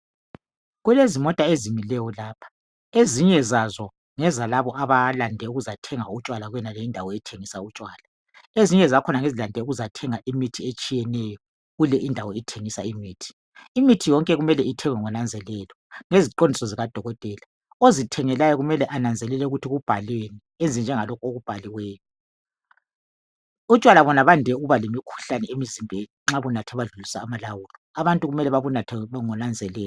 Kulezimota ezimileyo lapha ezinye zazo ngelalabo abalande ukuzothenga utshwala kuyonale indawo ethengisa utshwala ezinye zakhona ngezilande ukuzothenga imithi etshiyeneyo kule indawo ethengisa imithi imithi yonke kumele ithengwe ngonanzelelo ngeziqondiso zikadokotela ozithengelayo kumele ananzelele ukuthi kuhalweni enze njengalokho okubhaliweyo utshwala bona bande ukuba lemikhuhlane emizimbeni nxa ubunathe wadlulisa amalawulo abantu kumele bebunathe ngonanzelelo